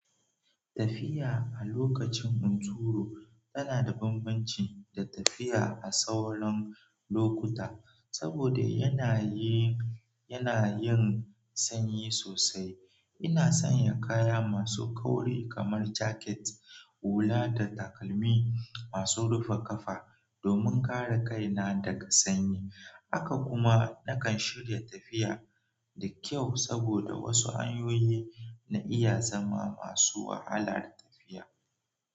Tafiya a lokacin hunturu tana da bambanci da tafiya a sauran lokuta saboda yanayin, yanayin sanyi sosai. Ina sanya kaya masu kauri kamar jaket, hula da takalmi masu rufe kafa domin kare kaina daga sanyi. Haka kuma nakan shirya tafiya da kyau saboda wasu hanyoyi na iya zama masu wahalar tafiya.